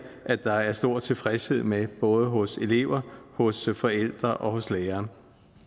der er stor tilfredshed med både hos elever forældre og lærere